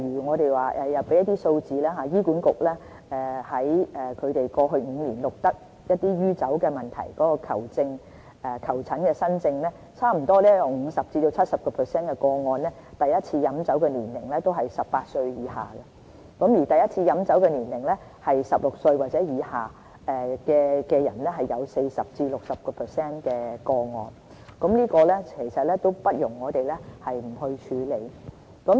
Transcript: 我們有一些數字，醫院管理局在過去5年錄得酗酒問題的求診新症中，在差不多 50% 至 70% 個案中第一次飲酒年齡為18歲以下，而第一次飲酒年齡為16歲或以下人士的個案有 40% 至 60%， 這問題不容我們不去處理。